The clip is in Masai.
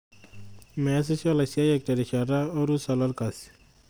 Meesisho laisiayiak terishata orusa lolkasi.